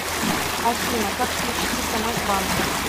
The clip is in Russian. афина как включить смс банка